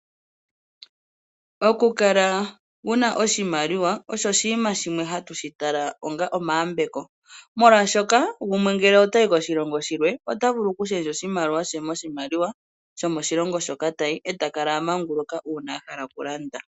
Oku kala wuna oshimaliwa Osho shimwe hatutala onga omayambeko molwashoka gumwe ngele otayi koshilongo shimwe otavulu okushendja oshimaliwa shomoshilongo shoka tayi etakala amanguluka uuna ahala okulanda